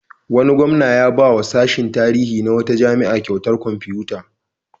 Wani gwamna ya ba wa sashin tarihi na wata jami'a kyautar kwamfutoci.